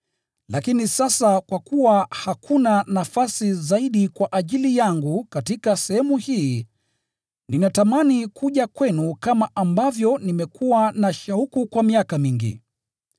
Lakini sasa kwa kuwa hakuna nafasi zaidi kwa ajili yangu katika sehemu hii, ninatamani kuja kwenu kama ambavyo nimekuwa na shauku kwa miaka mingi.